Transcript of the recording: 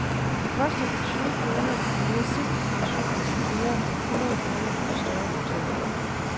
Det koster fra tyve kroner i de mere simple pensioner til flere hundrede kroner på de større hoteller.